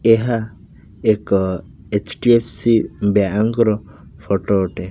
ଏହା ଏକ HDFC bank ର ଫଟ ଅଟେ।